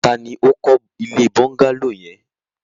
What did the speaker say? Ta ni ó kọ́ ilé bọ́ńgálò yẹn?